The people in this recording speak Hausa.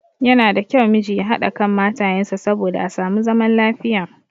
Yana da kyau miji ya haɗa kan matayen sa saboda a samu zaman lafiya.